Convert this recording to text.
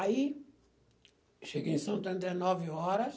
Aí, cheguei em São André, nove horas.